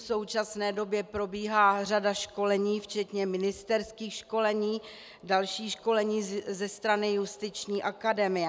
V současné době probíhá řada školení včetně ministerských školení, další školení ze strany Justiční akademie.